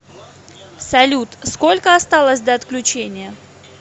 салют сколько осталось до отключения